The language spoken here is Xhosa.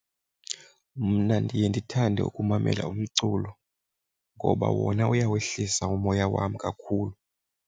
Mna ndiye ndithande ukumamela umculo ngoba wona uyawehlisa umoya wam kakhulu.